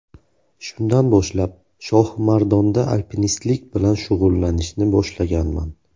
Shundan boshlab, Shohimardonda alpinistlik bilan shug‘ullanishni boshlaganman”.